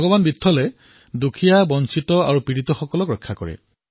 ভগৱান বিত্থলে দুখীয়া বঞ্চিত পীড়িতক ৰক্ষা কৰে